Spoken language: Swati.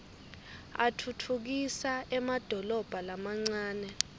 atfutfukisa emadolobha lamancane